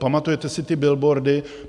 Pamatujete si ty billboardy?